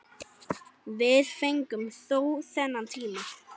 Við fengum þó þennan tíma.